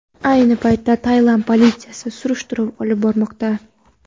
Ayni paytda Tailand politsiyasi surishtiruv olib bormoqda.